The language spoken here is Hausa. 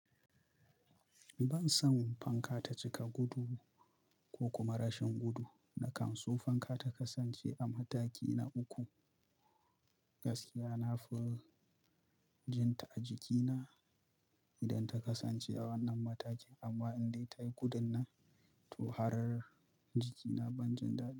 Ban san fanka ta cika gudu ko kuma rashin gudu na kan so fanka ta kasance a mataki na uku. Gaskiya na fi jin ta a jikina idan ta kasance a wannan matakin, amma in dai ta yi gudun nan, to har jikina ban jin daɗi.